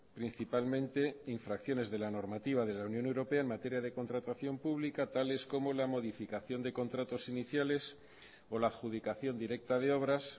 principalmente infracciones de la normativa de la unión europea en materia de contratación pública tales como la modificación de contratos iniciales o la adjudicación directa de obras